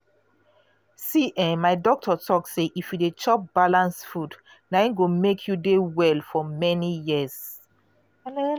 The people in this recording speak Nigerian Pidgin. see[um]my doctor talk say if you dey chop balanced food na im go make you dey well for many years.